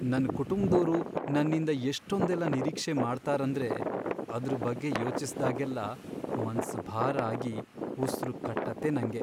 ನನ್ ಕುಟುಂಬ್ದೋರು ನನ್ನಿಂದ ಎಷ್ಟೊಂದೆಲ್ಲ ನಿರೀಕ್ಷೆ ಮಾಡ್ತಾರಂದ್ರೆ ಅದ್ರ್ ಬಗ್ಗೆ ಯೋಚಿಸ್ದಾಗೆಲ್ಲ ಮನ್ಸ್ ಭಾರ ಆಗಿ ಉಸ್ರು ಕಟ್ಟತ್ತೆ ನಂಗೆ.